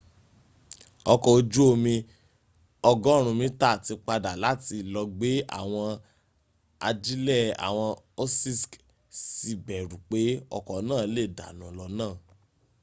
ọkọ̀ ojú omi 100 metre tí padà láti lọ gbé àwọn ajílẹ̀ àwọn òṣìṣk sì bẹ̀rù pé ọkọ̀ náà lè dànù lọ́nà